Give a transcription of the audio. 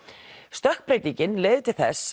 stökkbreytingin leiðir til þess